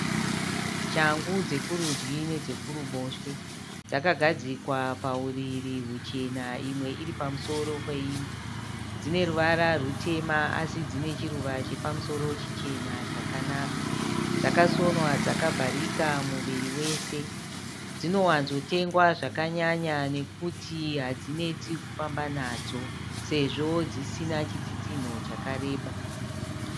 Shangu dzekurudyi nedzekuruboshwe. Dzakagadzikwa pauriri huchena imwe iri pamusoro peimwe. Dzine ruvara rutema asi dzine chiruva chepamusoro chichena chakanaka. Dzakasonwa dzakavharika muviri wese. Dzinowanzotengwa zvakanyanya nekuti hadzinetsi kufamba nadzo sezvo dzisina chitsitsinho chakareba.